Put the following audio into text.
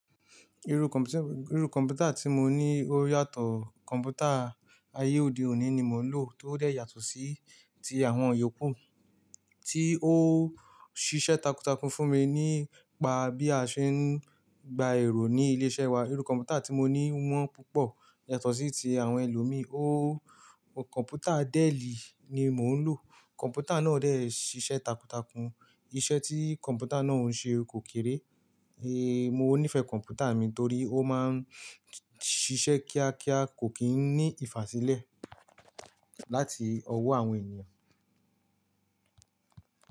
Irú kọ̀m̀pútà tí mo ní ó yàtọ̀, kọ̀m̀pútà ayé òde òní ni mò ń lò, tó dẹ̀ yàtọ̀ sí ti àwọn yòókù, tí ó ṣiṣẹ́ takuntakun fún mi, nípa bí a ṣe ń gba èrò ní ilé iṣẹ́ wa. Irú kọ̀m̀pútà tí mo ní wọ́n púpọ̀, yàtọ̀ sí ti àwọn ẹlòmíì. Kọ̀m̀pútà Dẹ́ẹ̀lì ni mò ń lò. Kọ̀m̀pútà náà dẹ́ ṣiṣẹ́ takuntakun. Iṣẹ́ tí kọ̀m̀pútà náà ń ṣe kò kéré. Mo nífẹ̀ẹ́ kọ̀m̀pútà mi torí ó máa ń ṣiṣẹ́ kíákíá, kò kí n ní ìfàsílẹ̀ láti ọwọ́ àwọn ènìyàn.